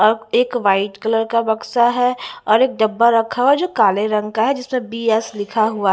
अब एक white colour का बक्सा है और एक डब्बा रखा हुआ है जो काले रंग का है जिसमें बी_एस लिखा हुआ--